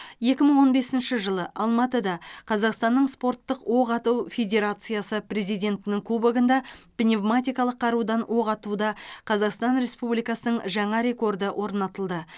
екі мың он бесінші жылы алматыда қазақстанның спорттық оқ ату федерациясы президентінің кубогында пневматикалық қарудан оқ атуда қазақстан республикасының жаңа рекорды орнатылды